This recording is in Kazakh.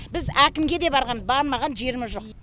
біз әкімге де барғанбыз бармаған жеріміз жоқ